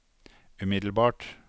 umiddelbart